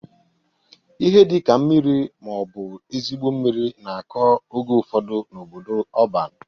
Ihe dị ka mmiri ma ọ bụ ezigbo mmiri na-akọ oge ufodu n'obodo ọban.